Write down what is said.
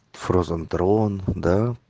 фрозен трон да